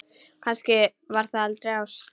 Kannski var það aldrei ást?